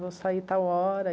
Vou sair tal hora.